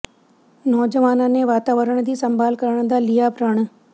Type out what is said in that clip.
ਨੌਜਵਾਨਾਂ ਨੇ ਵਾਤਾਵਰਨ ਦੀ ਸੰਭਾਲ ਕਰਨ ਦਾ ਲਿਆ ਪ੍ਰਣ